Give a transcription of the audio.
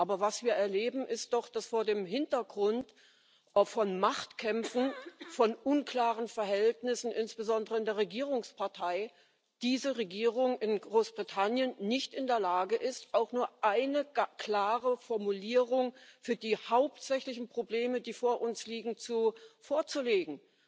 Aber was wir erleben, ist doch, dass vor dem Hintergrund auch von Machtkämpfen, von unklaren Verhältnissen insbesondere in der Regierungspartei diese Regierung in Großbritannien nicht in der Lage ist, auch nur eine einzige klare Formulierung für die hauptsächlichen Probleme, die vor uns liegen, vorzulegen.